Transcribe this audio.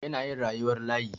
Yana yin rayuwar layi.